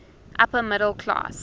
upper middle class